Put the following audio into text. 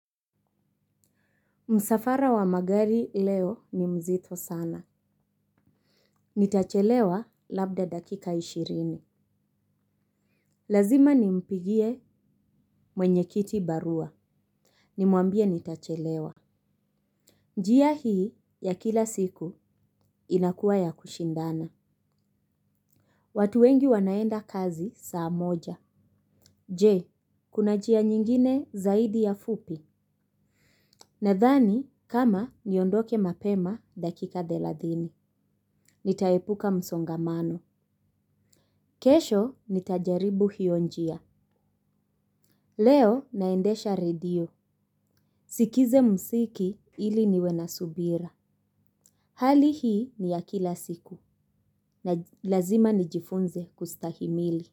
Msafara wa magari leo ni mzito sana. Nitachelewa labda dakika ishirini. Lazima nimpigie mwenye kiti barua. Nimwambie nitachelewa. Njia hii ya kila siku inakuwa ya kushindana. Watu wengi wanaenda kazi saa moja. Je, kuna njia nyingine zaidi ya fupi. Nadhani kama niondoke mapema dakika thelathini. Nitaepuka msongamano kesho nitajaribu hiyo njia. Leo naendesha radio. Nisikize muziki ili niwe na subira. Hali hii ni ya kila siku. Lazima nijifunze kustahimili.